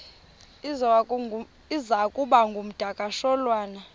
iza kuba ngumdakasholwana